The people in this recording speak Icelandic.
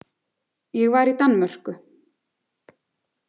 Ég var í Danmörku.